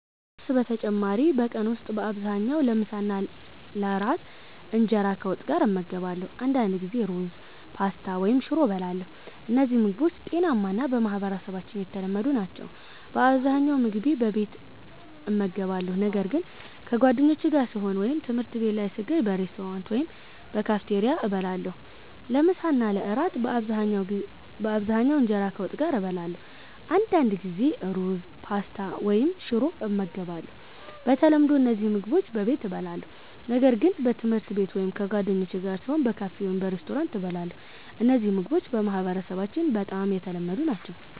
ከቁርስ በተጨማሪ በቀን ውስጥ በአብዛኛው ለምሳና ለእራት እንጀራ ከወጥ ጋር እመገባለሁ። አንዳንድ ጊዜ ሩዝ፣ ፓስታ ወይም ሽሮ እበላለሁ። እነዚህ ምግቦች ጤናማ እና በማህበረሰባችን የተለመዱ ናቸው። በአብዛኛው ምግቤን በቤት እመገባለሁ፣ ነገር ግን ከጓደኞቼ ጋር ስሆን ወይም ትምህርት ቤት ላይ ስገኝ በሬስቶራንት ወይም በካፌቴሪያ እበላለሁ። ለምሳ እና ለእራት በአብዛኛው እንጀራ ከወጥ ጋር እበላለሁ። አንዳንድ ጊዜ ሩዝ፣ ፓስታ ወይም ሽሮ ይመገባሉ። በተለምዶ እነዚህ ምግቦች በቤት እበላለሁ፣ ነገር ግን በትምህርት ቤት ወይም ከጓደኞቼ ጋር ስሆን በካፌ ወይም በሬስቶራንት እበላለሁ። እነዚህ ምግቦች በማህበረሰባችን በጣም የተለመዱ ናቸው።